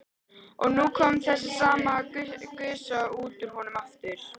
Og nú kom þessi sama gusa út úr honum aftur.